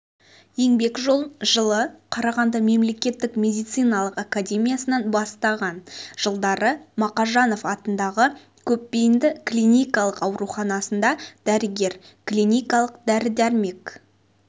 еңбек жолын жылы қарағанды мемлекеттік медициналық академиясынан бастаған жылдары мақажанов атындағы көпбейінді клиникалық ауруханасында дәрігер-клиникалық дәрі-дәрмек